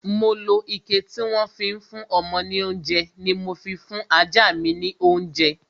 Mo lo ike tí wọ́n fi ń fún ọmọ ní oúnjẹ ni mo fi fún ọmọ ajá mi lounje